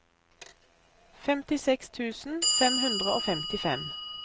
femtiseks tusen fem hundre og femtifem